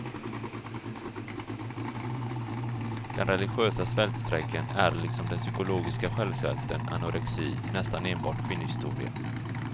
Den religiösa svältstrejken är liksom den psykologiska självsvälten, anorexi, nästan enbart kvinnohistoria.